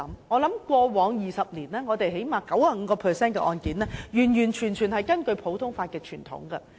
我相信過往20年，起碼有 95% 的案件是完完全全根據普通法的傳統審判。